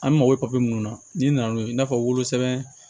An mako bɛ minnu na n'i nana n'o ye i n'a fɔ wolosɛbɛn